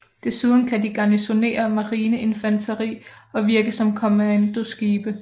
Desuden kan de garnisonere marineinfanteri og virke som kommandoskibe